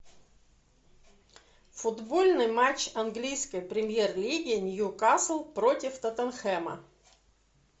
футбольный матч английской премьер лиги ньюкасл против тоттенхэма